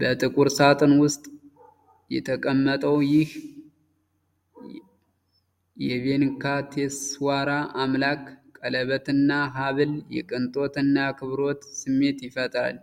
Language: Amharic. በጥቁር ሳጥን ውስጥ የተቀመጠው ይህ የቬንካቴስዋራ አምላክ ቀለበትና ሃብል የቅንጦት እና የአክብሮት ስሜት ይፈጥራል።